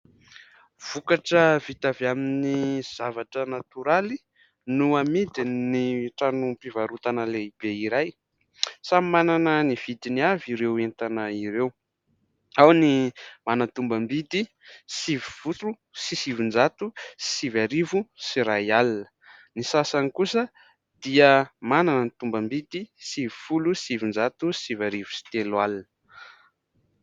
Vokatra vita avy amin'ny zavatra natoraly no amidin' ny tranom-pivarotana lehibe iray. Samy manana ny vidiny avy ireo entana ireo : ao ny manana tombam- bidy sivifolo sy sivinjato sy arivo sy iray alina, ny sasany kosa dia manana ny tombam- bidy sivifolo sy sivinjato sy sivy arivo sy telo alina.